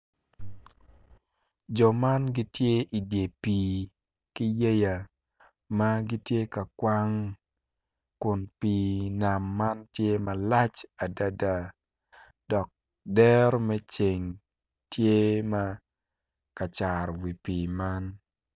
Jo man gitye idyer pii ki yeya ma gitye ka kwang kun pii nam man tye malac adada dok dero me ceng tye ma ka caro wi pii man